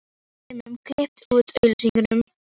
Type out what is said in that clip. Svo er þeim kippt úr augsýn.